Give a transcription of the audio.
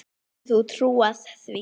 Getur þú trúað því?